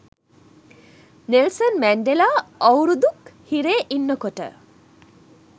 Nelson Mandela අවුරුදු ක් හිරේ ඉන්නකොට